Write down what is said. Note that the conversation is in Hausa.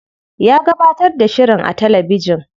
Ya gabatar da shirin a talabijin.